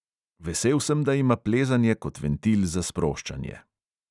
Vesel sem, da ima plezanje kot ventil za sproščanje.